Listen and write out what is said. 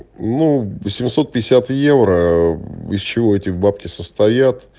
ну семьсот пятьдесят евро из чего этих бабки состоят